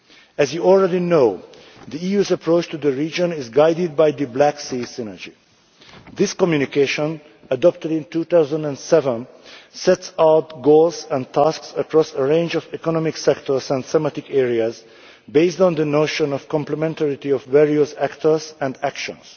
As you already know, the EU's approach to the region is guided by the Black Sea Synergy. This communication, adopted in 2007, sets out goals and tasks across a range of economic sectors and thematic areas based on the notion of the complementarity of various actors and actions.